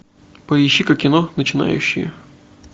поищи ка кино начинающие